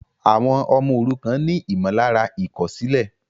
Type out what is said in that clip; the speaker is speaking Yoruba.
Àwọn ọmọ òrukàn ni ìmọ̀lára ìkòsílè